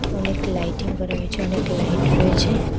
অনেক লাইটিং করা হয়েছে অনেক লাইট রয়েছে।